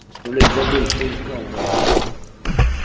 блять забыл что искал даже